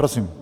Prosím.